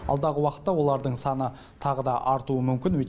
алдағы уақытта олардың саны тағы да артуы мүмкін